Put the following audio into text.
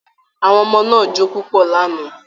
Àwọn ọmọ náà jó púpọ̀ lánàá